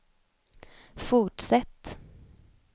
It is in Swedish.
fortsätt